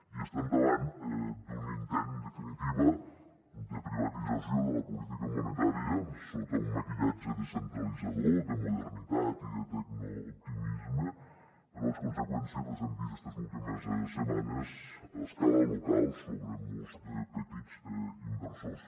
i estem davant d’un intent en definitiva de privatització de la política monetària sota un maquillatge descentralitzador de modernitat i de tecnooptimisme però les conseqüències les hem vist estes últimes setmanes a escala local sobre molts petits inversors